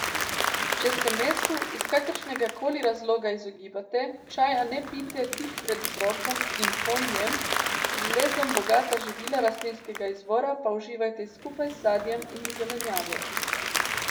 Če se mesu iz kakršnega koli razloga izogibate, čaja ne pijte tik pred obrokom in po njem, z železom bogata živila rastlinskega izvora pa uživajte skupaj z sadjem in zelenjavo.